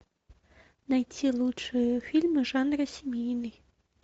найти лучшие фильмы в жанре семейный